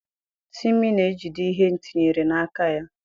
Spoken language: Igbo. Timi na-ejide ihe etinyere n'aka ya.